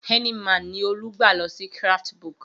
Heineman ni Olú gbà lọ sí Craftsbook.